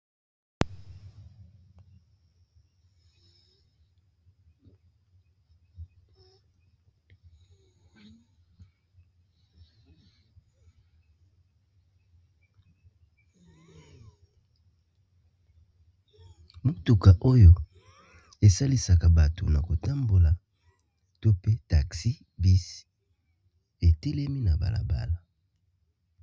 motuka oyo esalisaka bato na kotambola to pe taxi bis etelemi na balabala